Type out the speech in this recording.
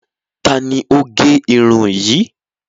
Tani o gé irun yìí?